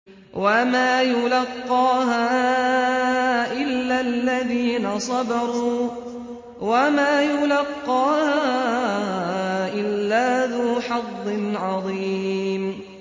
وَمَا يُلَقَّاهَا إِلَّا الَّذِينَ صَبَرُوا وَمَا يُلَقَّاهَا إِلَّا ذُو حَظٍّ عَظِيمٍ